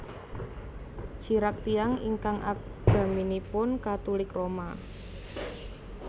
Chirac tiyang ingkang agaminipun Katulik Roma